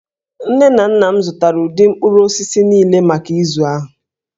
Nne na nna m zụtara ụdị mkpụrụ osisi niile maka izu ahụ